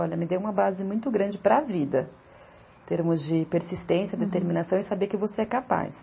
Olha, me deu uma base muito grande para a vida, em termos de persistência, determinação e saber que você é capaz.